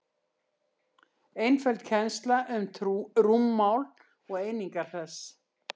einföld kennsla um rúmmál og einingar þess